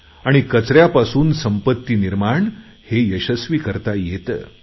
आणि कचऱ्यापासून संपत्ती निर्माण हे यशस्वी करता येतं